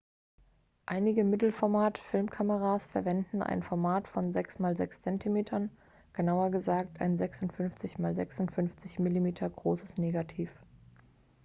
einige mittelformat-filmkameras verwenden ein format von 6 x 6 cm genauer gesagt ein 56 x 56 mm großes negativ